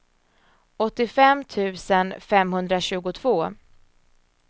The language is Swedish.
åttiofem tusen femhundratjugotvå